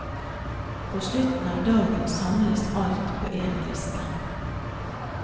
På slutten av dagen samles alt på en liste.